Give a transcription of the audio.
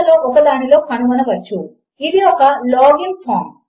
మీరు దానిని దాని స్థానములో ఉంచినట్లు అయితే అది ఆమోదనీయము అవుతుంది అది ఒప్పు అవుతుంది